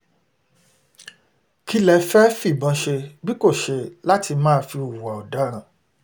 kí lẹ fẹ́ẹ́ fìbọn ṣe bí kò ṣe láti máa fi hùwà ọ̀daràn